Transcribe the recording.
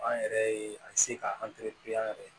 An yɛrɛ ye a se k'an yɛrɛ